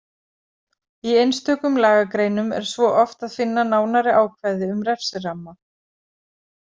Í einstökum lagagreinum er svo oft að finna nánari ákvæði um refsiramma.